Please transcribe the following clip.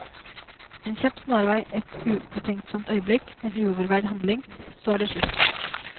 En kjapp snarvei, et ubetenksomt øyeblikk, en uoverveid handling, så er det slutt.